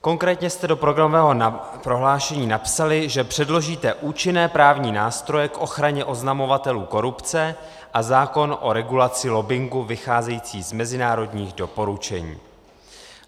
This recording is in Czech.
Konkrétně jste do programového prohlášení napsali, že předložíte účinné právní nástroje k ochraně oznamovatelů korupce a zákon o regulaci lobbingu vycházející z mezinárodních doporučení.